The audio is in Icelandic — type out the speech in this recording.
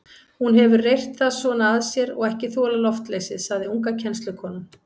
Hún hefur reyrt það svona að sér og ekki þolað loftleysið, sagði unga kennslukonan.